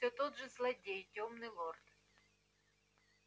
всё тот же злодей тёмный лорд